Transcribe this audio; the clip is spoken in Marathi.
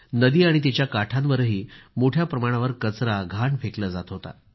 नदी आणि तिच्या काठांवरही मोठ्या प्रमाणावर कचरा घाण फेकला जात होता